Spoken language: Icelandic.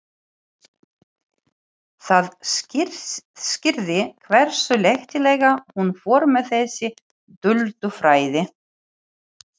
Það skýrði hversu léttilega hún fór með þessi duldu fræði.